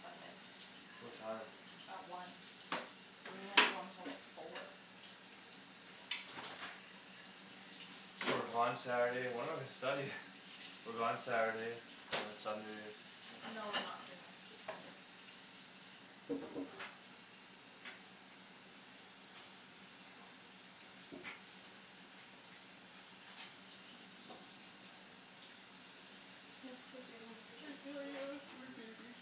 Sunday. What time? At one. So we won't be home till like four. So we're gone Saturday and when are we studying? We're gone Saturday, and then Sunday. No, we're not free next weekend. Thanks for doing all the I dishes. feel like I have a food Mhm. baby.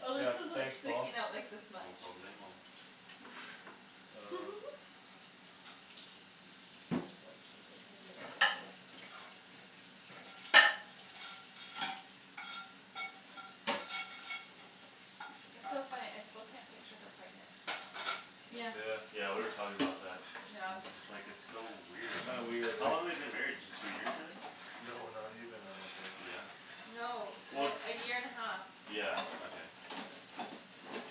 Oh, Yeah, this is, like, thanks, Paul. sticking out, like, this No much. problemo. Uh Want a cigarette? I could be like that now. It's so funny, I still can't picture her pregnant. Yeah. Yeah. Yeah, we were talking about that. Yeah. And just, like, it's so weird. Kinda weird, How eh? long they been married just two years, I think? No, not even, I don't think. Yeah? No. Well, The, a year and a half. yeah, okay.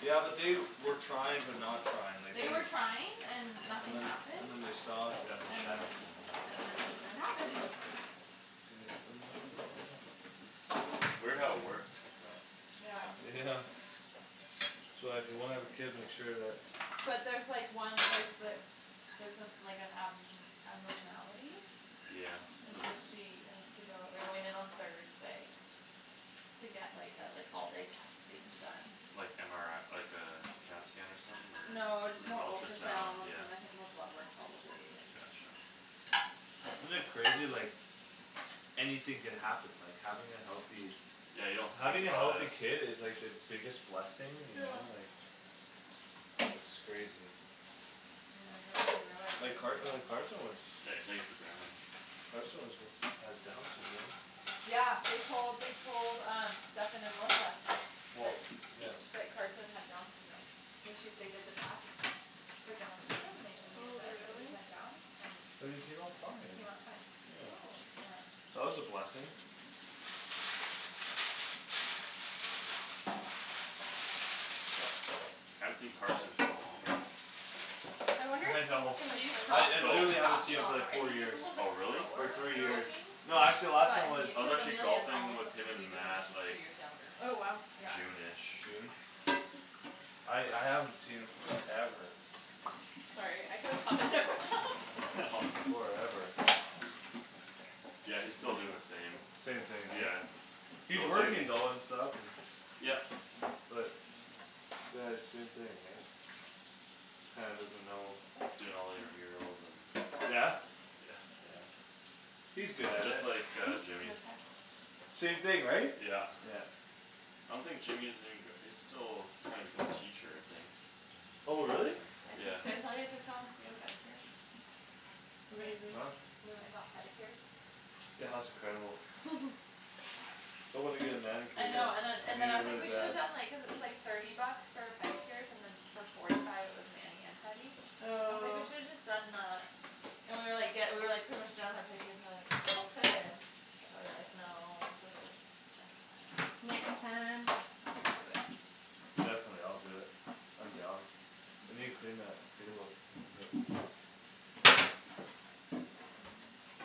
Yeah, but they were trying but not trying. Like They they're were trying and And nothing then, happened. and then they stopped and then That's what And Shannon then, said, yeah. and then it happened. Can you open that right Mhm. there? Weird how it works like that. Yeah. Yeah. So uh if you wanna have a kid make sure that But there's like one, like, the Theres some, like an ab- abnormality Yeah. And so she has to go, they're going in on Thursday. To get, like, uh like, all day testing done. Like MRI, like uh, CAT scan or something No, just more or ultrasound, ultrasounds yeah. and I think more blood work probably and Gotcha. Isn't it crazy like Anything could happen, like, having a healthy Yeah, you don't think Having a about healthy it. kid is like the biggest blessing, you Yeah. know? Like It's crazy. You know, you don't really realize Like it Car- uh until Carson was Yeah, you take it for granted. Carson was had Downs Syndrome Yeah, they told, they told um Stephen and Melissa. Well, That, yeah. that Carson had Downs syndrome. So she, they did the test For Downs syndrome and they, and they Oh, said that he really? had Downs and But he came out he fine. came out fine. Yeah. Oh. Yeah. That was a blessing. I haven't seen Carson in so long. I wonder if I he's gonna know. He's I, tal- He's come it, so he's literally haven't seen talking him a for lot more. like I four think he's a years. little bit Oh, really? Or slower on three the years. talking Oh. No, actually last time But he, was I was cuz actually Amelia's golfing almost with up to him and speed with him and Matt, she's like two years younger. Oh, wow. Yeah. June ish. June? I, I haven't seen him forever. Sorry, I could've All good. Forever. Yeah, he's still doin' the same. Same thing, right? Yeah, He's still working duty. though and stuff and Yep. But Uh same thing, right? Kinda doesn't know Doing all the intramurals and Yeah? Yeah. No He's good at Just it. like uh text? Hmm? Jimmy. No text? Same thing, right? Yeah. Yeah. I don't think Jimmy is even gra- he's still trying to become a teacher, I think. Oh, really? I Yeah. took, did I tell you I took Thomas to get a pedicure? Amazing. Huh? We went and got pedicures? Yeah, that was incredible. I wanna get a manicure I though. know, and then, I and then need I it was like, really we shoulda bad. done, like, cuz it was, like Thirty bucks for pedicures and then For forty five it was mani and pedi. I was like, "We Oh. should've just done uh" And we were, like, ge- we were, like, pretty much done with our pedicures and like We still could, but we were, like, "No, just next time." Next Next time. time I'll do it. Definitely, I'll do it. I'm down. We need to clean that table a little bit. Mhm.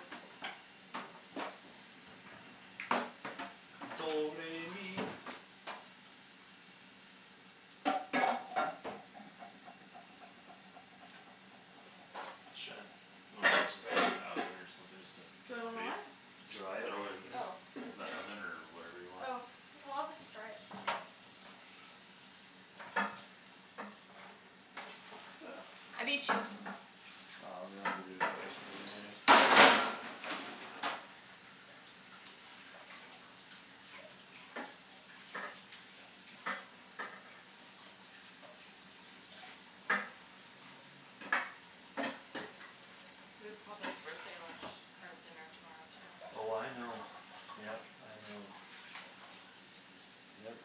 Shan, wanna just, just put this in the oven or something just to Do get I wanna what? space? It's Just Dry it? throw it not mine. in Oh. the oven or whatever you want? Oh. Oh, I'll just dry it. I beat you. Oh, that's a good place right in there. We have Papa's birthday lunch, or dinner tomorrow too. Oh, I know. Yep, I know. Yep,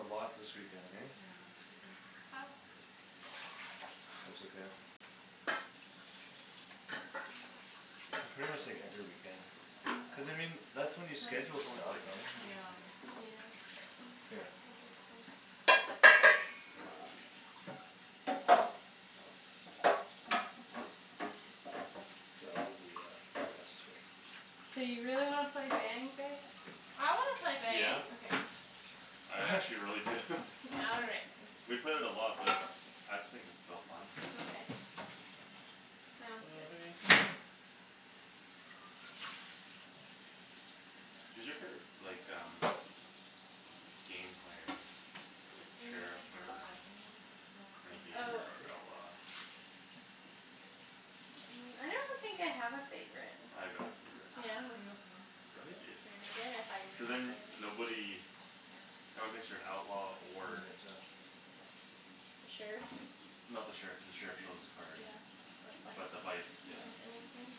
a lot this weekend, hey? Yeah, this weekend's packed. That's okay. Might It's pretty try much to like hold her every in weekend. for like another Cuz I half an hour. mean, that's when you What? schedule stuff. Right? And Yeah. Yeah. Here. I guess so. K, I'll do the uh, the rest here. Do you really wanna play Bang, babe? I wanna play Yeah. Bang. Okay. I actually really do. All right. We've played it a lot but it's, I think it's still fun. Okay, sounds good. Who's your favorite, like um Game player? Like Need to get sheriff my hair or cut. I need to text Melissa. Renegade Oh. or Sure. outlaw? I don't think I have a favorite. I got a favorite. Yeah? Like Are you okay? Yeah? Renegade. Renegade? I thought you Cuz were then gonna say that. nobody No one thinks you're an outlaw For or an exam. The sheriff? No, the sheriff, the sheriff shows his card. Yeah, But the the vice. vice, yeah. Oh, anything.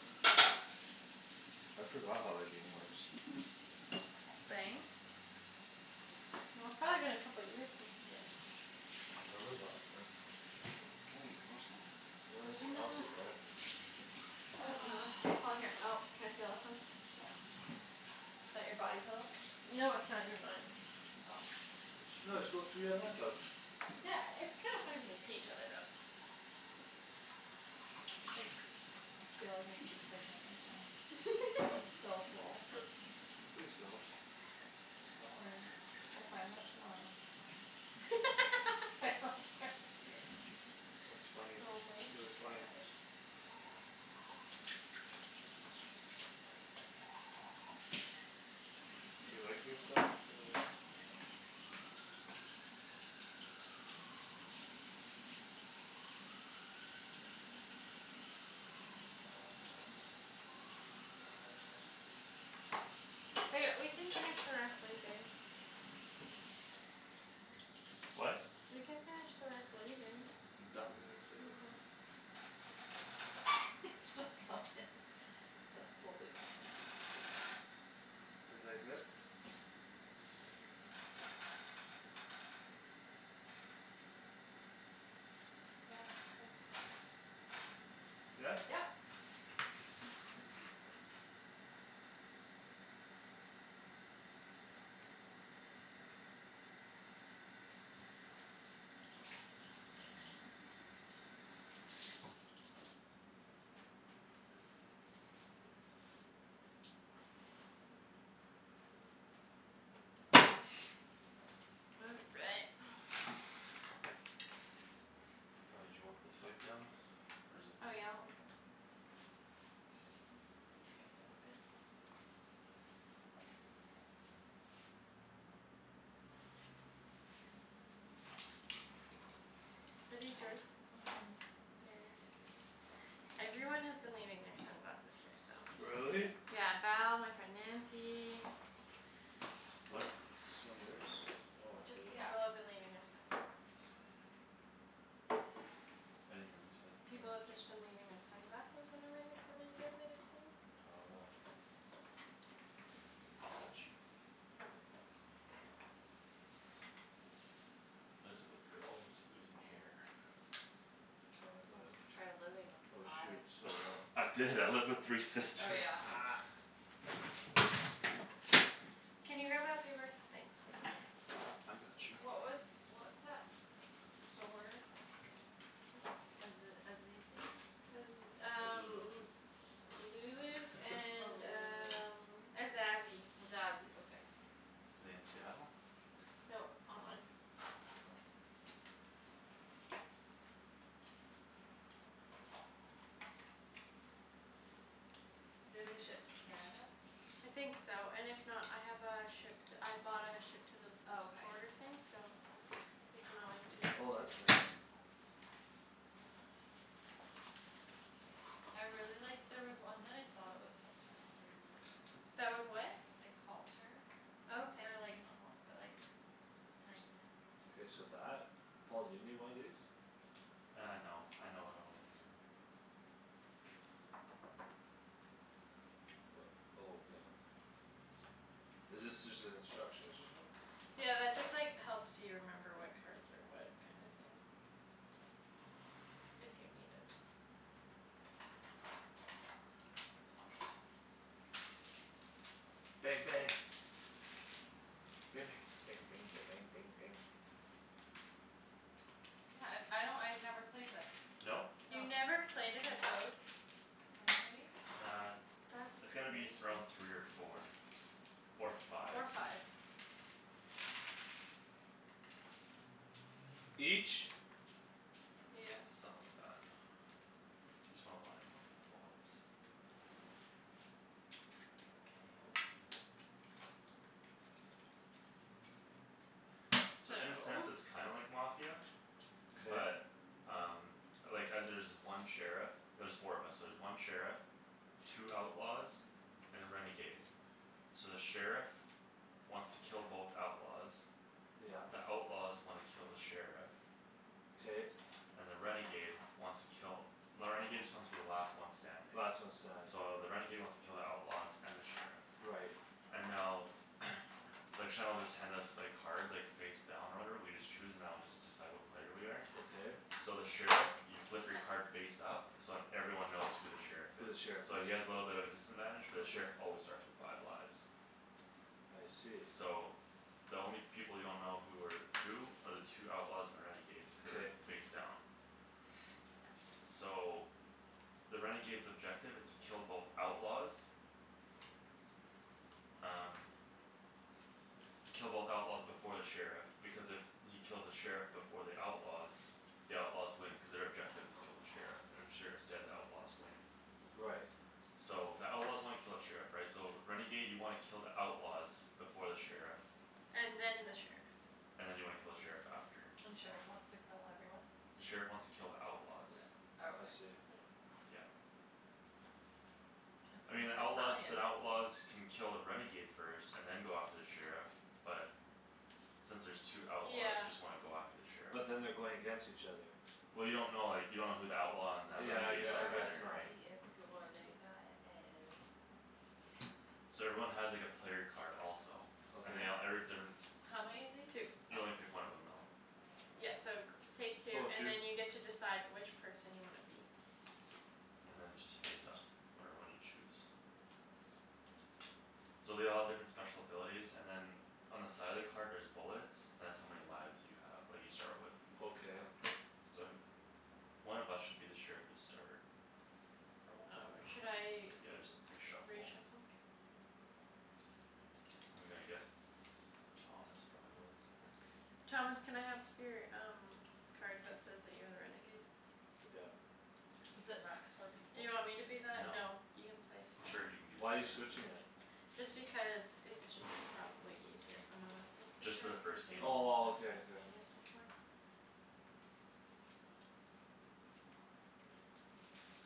I forgot how that game works. Bang? Well, it's probably been a couple years since you guys I can't remember the last time. Oh, monkey. You wanna I'm sit, I'll gonna sit there. K, Paul, here. Oh, can I steal Oh, this one? yeah. Is that your body pillow? No, it's not even mine. Oh. No, just go three on my couch. Yeah, it's kinda funny if you can see each other though. Like, I feel like I could be pregnant right now. I'm so full. Please don't. Don't worry, we'll find out tomorrow. I hope, sorry, here, hey. That's funny. Oh my It's really funny. gosh. You like, you're starting to Ba- we can finish the rest later. What? We can finish the rest later. I'm done. Okay. He's still going. That's totally Thomas. Is like this? Scared me. Yeah, since Yeah? Yep. All right. Oh, did you want this wiped down? Or is it fine? Oh yeah, like that. Bring it Are these yours? Mhm. Theirs? Everyone has been leaving their sunglasses here, so. Really? Really? Yeah. Val, my friend Nancy What? Is this one yours? Oh, I Just, hate it. Yeah. people have been leaving their sunglasses. I'm just about done here. I didn't hear what you said, People sorry. have just been leaving their sunglasses whenever they're coming to visit, it seems. Oh. Got you. What is it with girls and just losing hair? Tell me about Oh, it. try living with Oh, five. shoot, stole that. I Oh, is did, I lived with it? three Oh, sisters. yeah. Can you grab that paper- thanks, babe. I got you. What was, what's that store? Aze- Azizi? Cuz um Lulu's Oh, and Lulu's. um Azazi. Azazi, okay. In Seattle? Nope, online. Do they ship to Canada? I think so, and if not, I have a ship to, I bought a ship to the Oh, okay. border thing so You I can want always us do to that do Oh, that's it too. too. nice. I really liked, there was one that I saw that was halter that I really liked. That was what? Like halter. Oh, okay. Or like, not halt- but like Kinda K, so that? Paul, do you need one of these? Uh, no, I know what all of them do. Oh, okay. Is this just the instructions or something? Yeah, that just, like, helps you remember what cards are what kinda thing. If you need it. Bang, bang. Ba- bang. Bang bang ba- bang bang bang. Yeah, uh I don't, I never played this. No? No. You Mm- mm never played it at What, baby? Uh, That's it's gonna be crazy. th- around three or four. Or five. Or five. Each? Yeah. Something like that. Just wanna why I'm looking for bullets. Okay. So So in a sense it's kinda like Mafia. K. But um Like uh there's one sheriff. There's four of us so there's one sheriff Two outlaws And a renegade. So the sheriff Wants to kill both outlaws. Yep. The outlaws wanna kill the sheriff. K. And the renegade wants to kill, the renegade just wants to be the last one standing. Last one standing. So the renegade wants to kill the outlaws and the sheriff. Right. And now Like Shan'll just hand us, like, cards, like, face down or whatever, we just choose and that'll just decide what player we are. Okay. So the sheriff, you flip your card face up So then everyone knows who the sheriff Who the is. sheriff So is. he has little bit of a disadvantage but the Okay. sheriff always starts with five lives. I see. So the only people you don't know who are Who are the two outlaws and the renegade. Cuz K. they're face down. So the renegade's objective is to kill both outlaws Um Kill both outlaws before the sheriff, because if he kills the sheriff before the outlaws The outlaws win cuz their objective is kill the sheriff. And if sheriff's dead, the outlaws win. Right. So the outlaws wanna kill the sheriff, right? So renegade you wanna kill the outlaws. Before the sheriff And then the sheriff. And then you wanna kill the sheriff after. And the sheriff wants to kill everyone? The sheriff wants to kill the outlaws. I Okay. see. Yeah. It's I mean, in the outlaws, Italian. the outlaws Can kill a renegade first and then go after the sheriff but Since there's two outlaws Yeah. you just wanna go after the sheriff. But then they're going against each other. Well, you don't know, like, you don't know who the outlaw and the Yeah, I gue- renegades I are guess either, not. right? Two. So everyone has, like, a player card also. And Okay. they all, every different How many of these? Two. You only pick one of them though. Yeah, so g- take two Oh, and two. then you decide which person you wanna be. And then just face up whatever one you choose. So they all have different special abilities and then On the side of the card there's bullets. That's how many lives you have that you start with. Okay. Okay. So th- One of us should be the sheriff to start. Probably. Oh, should I Yeah, just re-shuffle. re-shuffle? I'm gonna guess Thomas probably was or Thomas, can I have your um card that says that you're a renegade? Took out. Is it max four people? Do you want me to be that? No. No, you can play Sure, seven. you can be the Why you sheriff. switching it? Just because it's just probably easier. If one of us is the Just for the sheriff versus first game. Oh, well, okay, okay. played it before.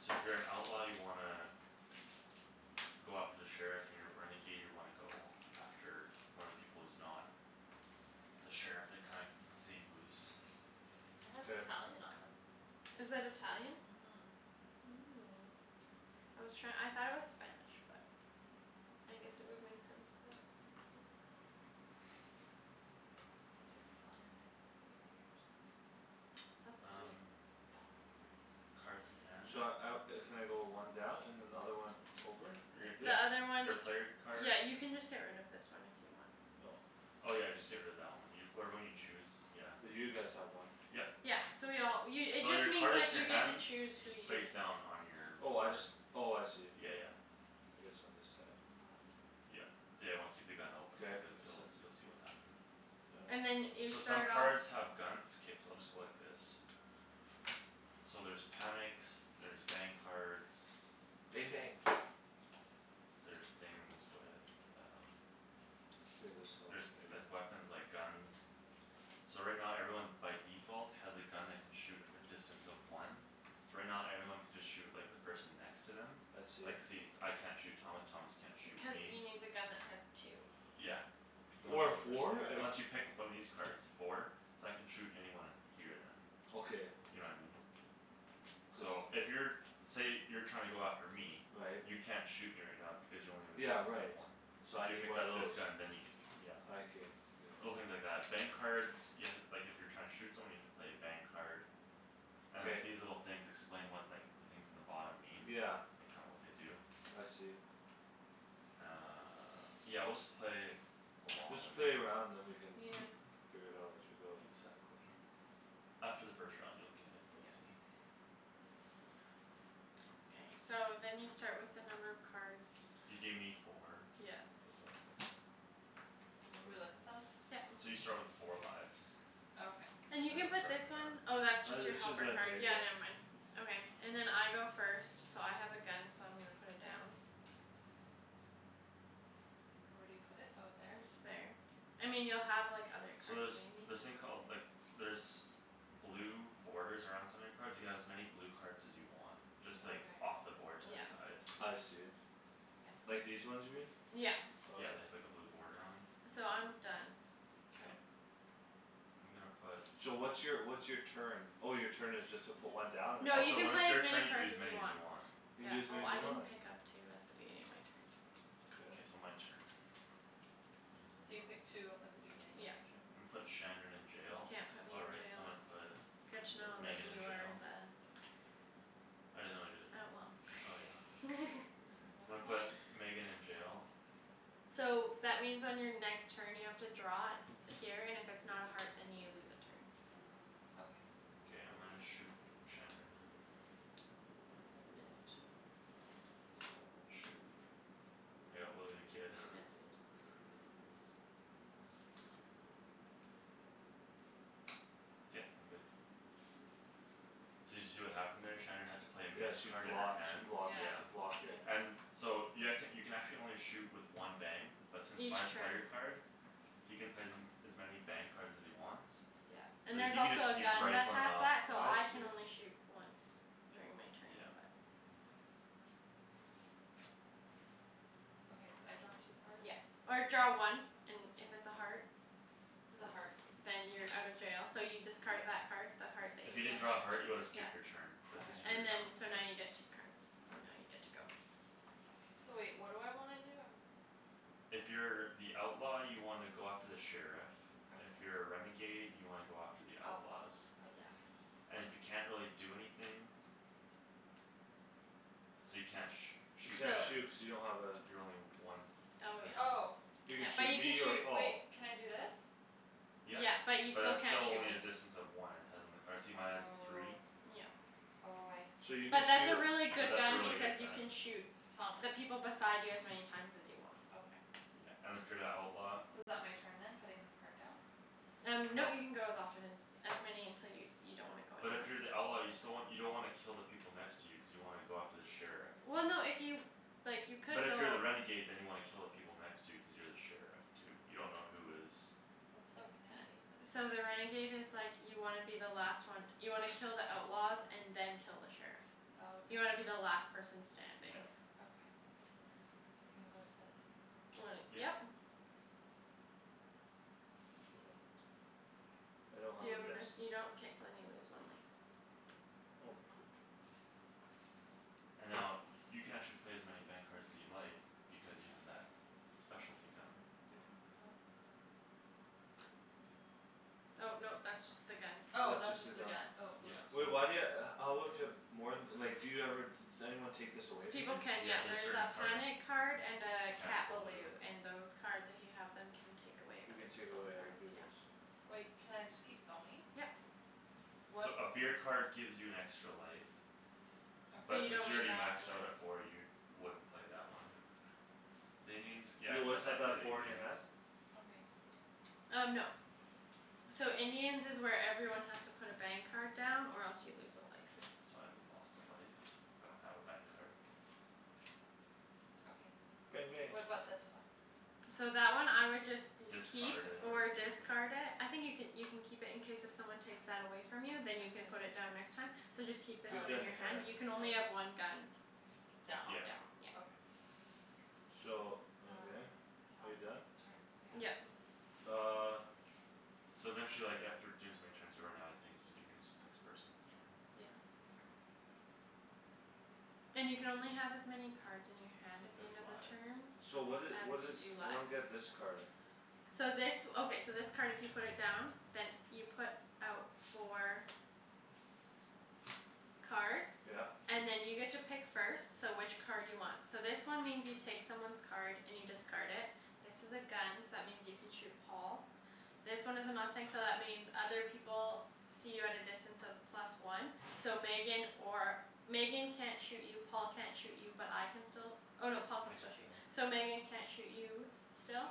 So if you're an outlaw you wanna Go after the sheriff, you're a renegade, you wanna go after one of the people who's not The sheriff and kind- see who's It has K. Italian on 'em. Is that Italian? Mhm. Oh, I was try- I thought it was Spanish, but I guess it would make sense that it's not. I took Italian in high school for three years. That's sweet. Um Don't remember any of it. Cards in hand. Should I out, uh can I go one down and another one over? Your, Th- Like this? the your, other one your player card. Yeah, you can just get rid of this one if you want. Oh. Oh, yeah, just get rid of that one. Whatever one you choose, yeah. Cuz you guys have one. Yep. Yeah, so we all, you it So just your card means, is in like, your you get to hand. choose who Just you face down on your Oh, I board. just, oh, I see. Yeah, yeah. It is on this side. Yeah, yeah, you wanna keep the gun open K, it because makes you'll, sense. you'll see what happens. Yeah. And then you So some start off cards have guns, it's okay, so I'll just go like this. So there's panics, there's bang cards Bang bang. There's things with um K, this helps There's, maybe. there's weapons, like, guns. So right now everyone by default has a gun that can shoot at a distance of one. So right now everyone can just shoot, like, the person next to them. I Like, see. see, I can't shoot Thomas, Thomas can't shoot Cuz me. he needs a gun that has two. Yeah. You can only Or a shoot one person with four? it, Like unless you pick up one of these cards. Four? So I can shoot anyone here then. Okay. You know what I mean? So So if you're, say you're trying to go after me. Right. You can't shoot me right now because you only have a Yeah, distance of right, one. so So I if you need picked one of up this those. gun then you could, yeah. I can, okay. Little things like that. Bang cards You have to, like, if you're trying to shoot someone you have to play a bang card. And, K. like, these little things explain what, like The things in the bottom mean. Yeah. Like, kinda what they do. I see. Uh, yeah, we'll just play along Just and then play a round then we can Yeah. Yeah. figure it out as we go. Exactly. After the first round you'll get it, Yeah. easy. K, so then you start with the number of cards You gave me four. Yeah. This'll do. Do we look at them? Yeah. So you start with four lives. Okay. And you You can guys'll put start this one on that. Oh, that's just Uh your it's just helper right card, there, yeah, yeah. never mind. Okay, and then I go first So I have a gun, so I'm gonna put it down. Where do you put it? Oh, there? And just there. I mean, you'll have, like, other So cards, there's maybe. this thing called, like, there's Blue borders around some of your cards. You can have as many blue cards as you want. Just like Okay. off the board to the Yeah. side. I see. Yeah. Like these ones here? Yeah. Okay. Yeah, they have, like, a blue boarder on 'em. So I'm done, so K. I'm gonna put So what's your, what's your turn? Oh, your turn is just to put one down? Or No, Oh, you so can when it's play as your many turn you can cards use as as you many as want. you want. You can Yeah. do as many Oh, as I you didn't want? Yeah. pick up two at the beginning of my turn. K, so Okay. my turn. So you pick two up at the beginning of your Yep. Yeah. turn? I'mma put Shandryn in You jail. can't put Oh, me in right, so I'm jail. gonna put Good to know that Megan in you are jail. the I didn't know you're Oh, the, oh, yeah. well. I'm What gonna am put I? Megan in jail. So that means on your next turn you have to draw Here and if it's not a heart then you lose a turn. Okay. K, I'm gonna shoot Shandryn. You missed. Shoot, I got Willy the Kid. You missed. K, I'm good. So did you see what happened there? Shandryn had to play a Yeah, miss she card in her blocked, she hand, blocked, yeah. she Yeah. blocked it. Yeah. And so you, I could, you can actually only shoot with one bang But since Each my player turn. card He can play them as many bang cards as he wants. Yeah. So And there's he can just also a keep gun that rifling has off. that so I I can see. only shoot once during my turn Yeah. but Okay, so I draw two cards? Yeah, or draw one. And if it's a heart It's a heart. Then you're out of jail, so you discard Yeah. that Card. the heart that If you you didn't just. draw a heart you would've yeah. skipped your turn, but since you Okay. drew it And now, then yeah. so now you get two cards and now you're Okay. good to go. So wait, what do I wanna do? I'm If you're the outlaw you wanna go after the sheriff. If Okay. you're a renegade you wanna go after the The outlaws. outlaws, Oops, yeah. okay. And if you can't really do anything So you can't sh- You shoot can't So Shan. shoot cuz you don't have a You're only one Oh distance. Oh. yeah, You yeah, could but shoot you can me or shoot. Paul. Wait, can I do this? Yep, Yeah, but you but still that's can't still shoot only me. a distance of one. It has on the card. See, mine has a three? Oh. Yeah. Oh, I So see. you But could Yeah, but that's a shoot really good that's a gun really because good you can gun. shoot Thomas. The people beside you as many times as you want. Okay. Yeah, and if you're the outlaw So is that my turn then? Putting this card down? Um nope, you can go as often as As many until you, you don't wanna go But anymore. if you're the outlaw you still wan- you don't wanna kill the people next to you cuz you wanna go after the sheriff. Well, no if you, like, you But could if you're go the renegade then you wanna kill the people next to you cuz you're the sheriff too. You dunno who is What's the That, renegade? so the renegade is like You wanna be the last one. You wanna kill the outlaws and then kill the sheriff. Oh, okay. You wanna be the last person Yeah. standing. Okay. So can I go like this? When it, Yep. yep. I don't have Do you a have a miss. miss? You don't? K, so then you lose one life. Oh, poop. And now, uh, you can actually play as many bang cards as you like Because you have that Bang, specialty gun. go. Oh no, that's just the gun. Oh, That's that's just the just the gun. gun, oh, Yeah, oops. Wait, no. why do you ha- how would you have More th- like, do you ever just Anyone take this away from you? People can, Yeah, yeah, there's there's certain a cards. panic card and a Cat Cat balou. balou and those cards if you have Them can take away You other can take peoples' away other cards, yeah. peoples'. Wait, can I just keep going? Yep. What's So a beer card gives you an extra life. Okay. So But you since don't you're need already that, maxed yeah. out at four you wouldn't play that one. The Indians, yeah, You I'd p- always have I'd to have play the four in your Indians. hand? Okay. Um, no. So Indians is where everyone has to put a bang card down or else you lose a life. Yeah, so I lost a life cuz I don't have a bang card. Bang Okay, bang. what about this one? So that one I would just You'd keep Discard it or or use it. discard it. I think you could, you can keep it in case if someone takes that away From you then you can put Okay. it down next time. So just keep Oh, this Keep one that in in your your okay. hand. hand; you can only have one gun. Down. On Yeah. down, yeah. Okay. So, Now okay, it's are you done? Thomas's turn, yeah. Yeah. Yep. Uh. So then she, like, after doing so many turns you run out of things to do and then it's the next person's turn. Yeah. Okay. And you can only have as many cards in your hand at the Has end of the lives, turn so. So what did, As what you is, do I don't lives. get this card. So this, okay, so this card if you put it down Then you put out four Cards Yeah. And then you get to pick first, so which card do you want? So this one means you take someone's card and you discard it. This is a gun so that means you can shoot Paul. This one is a mustang so that means other people See you at a distance of plus one. So Megan or, Megan can't shoot you Paul can't shoot you but I can still Oh no, Paul can I can still shoot, still. so Megan can't shoot you still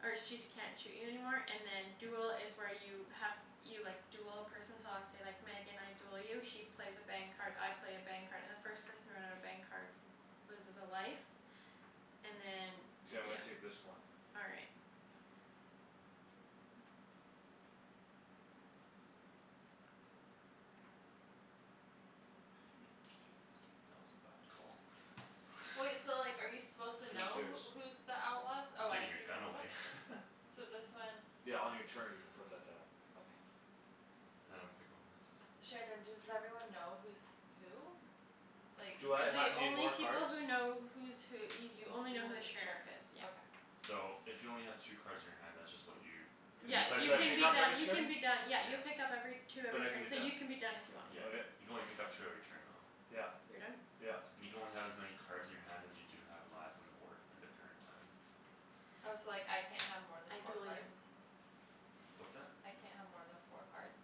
Or she's can't shoot you anymore and then duel is where you have You, like, duel a person so let's say, like, Megan I Duel you she plays a bang card, I play a bang card and the first person to run out of bang cards Loses a life And then, K, I'm yeah. gonna take this one. All right. That was a bad Wait, call. so like are you supposed to Who's know yours? who, who's The outlaws? I'm Oh, I taking your take gun this one? away. So this one Yeah, on your turn you could put that down. Okay. Now I'm gonna pick one Shandryn, does everyone know who's who? Like, Do I ha- like The need only more people cards? who know who's who y- You you only know know who the the sheriff sheriff is, is, yeah. okay. So if you only have two cards in your hand that's just what you Cuz you Yeah. And play uh it do You so I many can pick be up turns every done, you can turn? be done. Yeah, Yeah. you pick up every Two But every I can be turn so you done. can be done if you want, yeah. Yeah, Okay. you can only pick up two every turn though. Yep, You're done? yep. You can only have as many cards in your hand as you do have lives on the board end of turn time. Oh, so, like, I can't have more than I four duel you. cards? What's that? I can't have more than four cards?